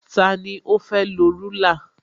Tani ó fẹ́ lọ rúlà?